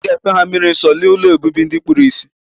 Oga efe ha mmiri nso ma oga na ụlọ obibi ndi kpuru isi.